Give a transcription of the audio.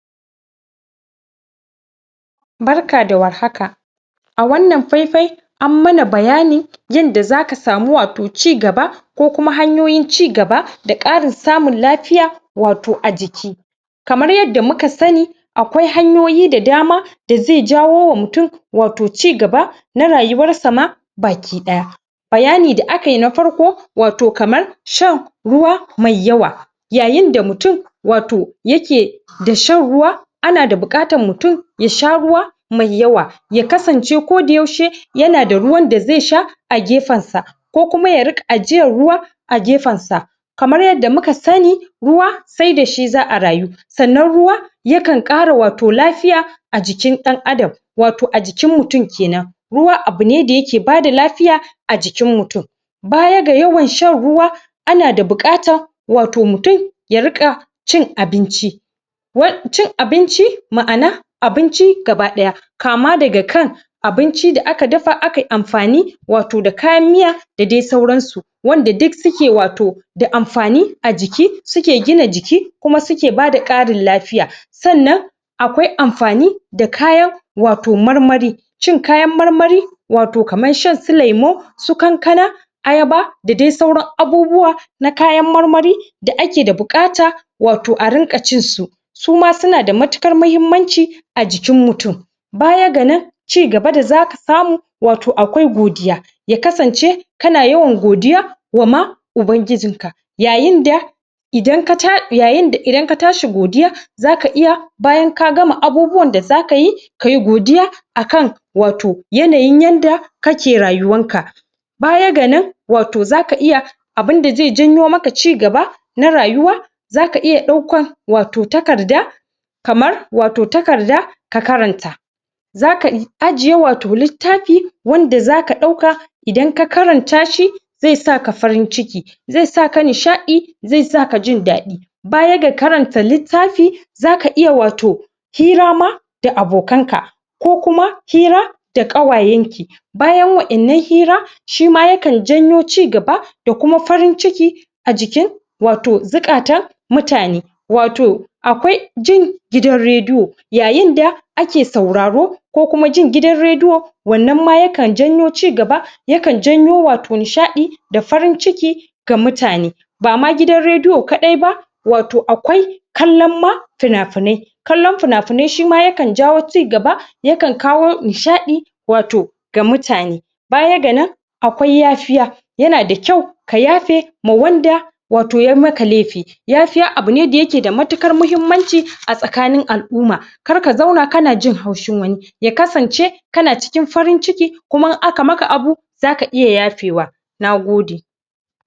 BArka da war haka a wannan faifai ammana bayani yanda zaka samu wato ci gaba ko kuma hayoyin cigaba da ƙarin samun lafiya wato ajiki kamar yadda muka sani akwai hanyoyi da dama da ze jawowa mutun wato ci gaba na rayuwarsama baki ɗaya bayani da akayi na farko wato kamar shan ruwa mai yawa yayinda mutun wato yake da shan ruwa anada buƙatan mutun ya sha ruwa mai yawa yaka sance koda yaushe yana da ruwan da zesha agefansa ko kuma ya riƙa ajiyan ruwa agefan sa kamar yadda muka sani ruwa sai dashi za a rayu sannan ruwa yakan ƙara wato lafiya ajikin ɗan adam wato ajikin mutun kenan ruwa abune da yake bada lafiya ajikin mutun baya ga yawan shan ruwa anada buƙata wato mutun ya riƙa cin abinci cin abinci ma'ana abinci gaba ɗaya kama daga kan abinci da aka dafa akai amfani wato da kayan miya da dai sauran su wanda duk suke wato da amfani ajiki suke gina jiki kuma suke bada ƙarin lafiya sannan akwai amfani da kayan wato marmari cin kayan marmari wato kaman shan su lemu su kankana ayaba da dai sauran abubuwa na kayan marmari da akeda buƙata wato arinƙa cin su suma sunada matuƙan mahimmanci ajikin mutun bayan ganan ci gaba dazasu samu wato akwai godiya yakasance kana yawan godiya wama ubangijinka yayin da idan kata yayinda idan katashi godiya zaka iya bayan ka gama abubuwan da zakayi kai godiya akan wato yanayin yanda kake rayuwanka baya ga nan wato zaka iya abinda ze janyo maka ci gaba na rayuwa zaka iya ɗaukan wato takarda kamar wato takarda ka karanta zaka ajjiye wato littafi wanda zaka ɗauka idan ka karantashi ze saka farin ciki ze saka nishaɗi ze saka jin daɗi baya ga karanta littafi zaka iya wato hira ma da abo kanka ko kuma hira da ƙawayanki bayan wayannan hira shima yakan jayo ci gaba da kuma farin ciki ajikin wato zuƙatan mutane wato akwai jin gidan redio yayin da ake sauraro ko kuma jin gidan redio wannan ma yakan janyo ci gaba yakan janyo wato nishaɗi da farin ciki ga mutane bama gidan redio kaɗai ba wato akwai kallan ma finafinai kallon finafinai shima yakan jawo ci gaba yakan kawo nishaɗi wato ga mutane baya ga nan akwai yafiya yana da kyau kayafe mawanda wato yai maka lefi yafiya abune da yake da matuƙan mahimmaci a tsakanin al'umma kar ka zauna kanajin haushin wani ya kasance kana cikin farin ciki kuma in aka maka abu zaka iya yafewa nagode